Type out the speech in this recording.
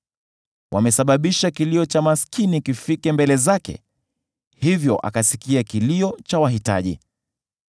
Wamesababisha kilio cha maskini kifike mbele zake, hivyo akasikia kilio cha wahitaji.